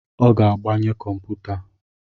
Ọ ga-agbanye kọmputa